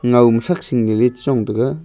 nau am saksing ningle chi chong taga.